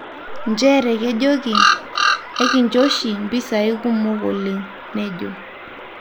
'njere kejoki'ekincho oshi mpisai kumok oleng,''nejo.